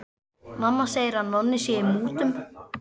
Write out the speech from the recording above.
Mamma segir að Nonni sé í mútum.